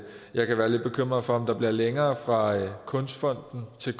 jeg kan være lidt bekymret for om der bliver længere fra kunstfonden til